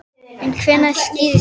En hvenær skýrist þetta?